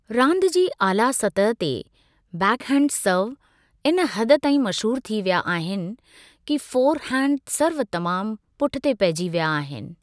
रांदि जी आला सतह ते बैकहैंड सर्व, इन हद ताईं मशहूर थी विया आहिनि कि फोरहैंड सर्व तमामु पुठि ते पहिजी विया आहिनि।